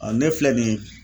ne filɛ nin ye